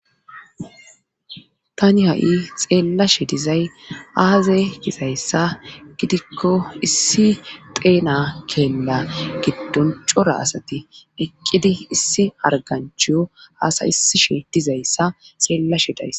Tani ha'i xeellashe dizay aaza gizayssa gidikko issi xeena keella giddon cora asati eqqidi issi arganchiyo aasay isishe dizayssa xeellashe daysa.